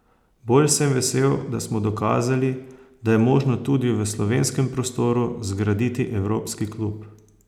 Bolj sem vesel, da smo dokazali, da je možno tudi v slovenskem prostoru zgraditi evropski klub.